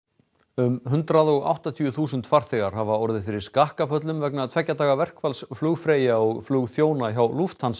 um hundrað og áttatíu þúsund farþegar hafa orðið fyrir skakkaföllum vegna tveggja daga verkfalls flugfreyja og flugþjóna hjá